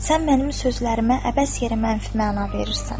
Sən mənim sözlərimə əbəs yeri mənfi məna verirsən.